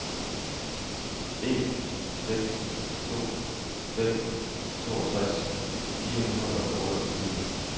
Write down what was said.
en seks to fem toogtres fire hundrede og otteogtyve